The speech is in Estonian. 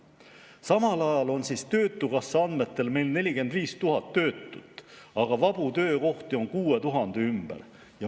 Samal ajal on töötukassa andmetel meil 45 000 töötut, aga vabu töökohti on 6000 ümber.